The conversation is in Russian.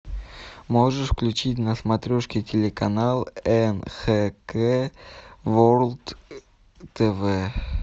можешь включить на смотрешке телеканал нхк ворлд тв